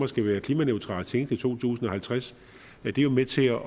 skal være klimaneutralt senest i to tusind og halvtreds det er jo med til at